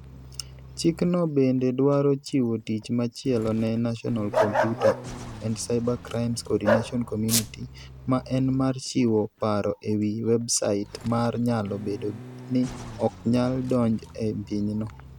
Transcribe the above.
Chikno bende dwaro chiwo tich machielo ne National Computer and Cybercrimes Coordination Committee ma en mar chiwo paro e wi websait ma nyalo bedo ni ok nyal donj e pinyno.